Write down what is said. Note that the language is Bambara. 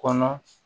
Kɔnɔ